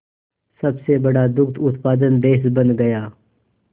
सबसे बड़ा दुग्ध उत्पादक देश बन गया